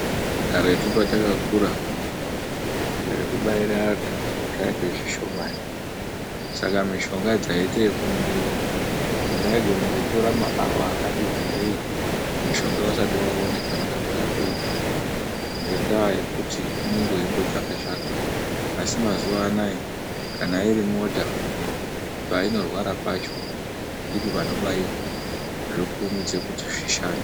Karetu patakakura, zvekubaira antu zvainge zvishomani. Saka mishonga dzaiite yekumwiwa. Zvaigona kutora maawa akati wandei mushonga usati waone panode kurapiwa ngendaa yekuti unenge weyimbotsvaka tsvaka. Asi mazuva anaya kana iri mota, painorwara pacho ndipo panobaiwa, zvokurumidze kuti zvishande.